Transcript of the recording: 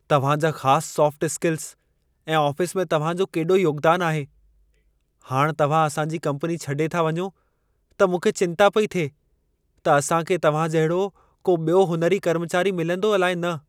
तव्हां जा ख़ास सोफ़्ट-स्किल्स ऐं आफ़िस में तव्हां जो केॾो योगदान आहे। हाणि तव्हां असां जी कम्पनी छॾे था वञो, त मूंखे चिंता पई थिए त असां खे तव्हां जहिड़ो को ॿियो हुनुरी कर्मचारी मिलंदो अलाइ न।